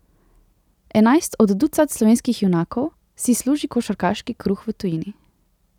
Enajst od ducat slovenskih junakov si služi košarkarski kruh v tujini.